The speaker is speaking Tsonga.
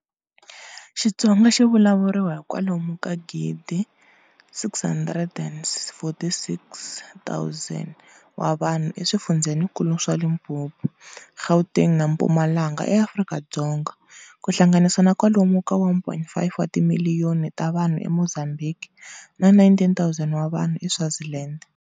Xitsonga xi vulavuriwa hi kwalomu ka 1,646,000 wa vanhu eswifundzenikulu swa Limpopo, Gauteng na Mpumalanga eAfrika-Dzonga, ku hlanganisa na kwalomu ka 1.5 wa timiliyoni ta vanhu e Mozambhiki, na 19,000 wa vanhu eSwaziland.